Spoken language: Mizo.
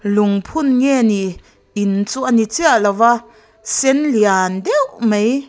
lungphun nge ni in chu a ni chiah lova sen lian dêuh mai--